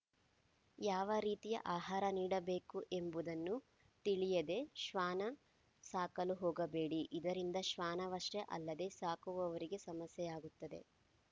ಯಾವ ರೀತಿಯ ಆಹಾರ ನೀಡಬೇಕು ಎಂಬುದನ್ನು ತಿಳಿಯದೆ ಶ್ವಾನ ಸಾಕಲು ಹೋಗಬೇಡಿ ಇದರಿಂದ ಶ್ವಾನವಷ್ಟೇ ಅಲ್ಲದೆ ಸಾಕುವವರಿಗೆ ಸಮಸ್ಯೆಯಾಗುತ್ತದೆ